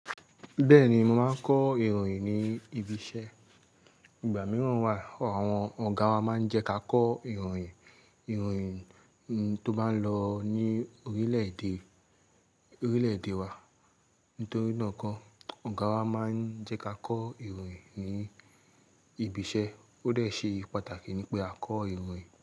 Bẹ́ẹ̀ni, mo máa ń kọ ìròyìn ní ibi iṣẹ́. Ìgbà mìíràn wà, àwọn ọ̀gá wa máa ń jẹ́ ká kọ ìròyìn, ìròyìn tó bá ń lọ ní orílẹ̀-èdè wa. Nítorí náà koo, ọ̀gá wa máa ń jẹ́ ká kọ ìròyìn ní ibi iṣẹ́, ó dè ṣe pàtàkì ní pé a kọ ìròyìn.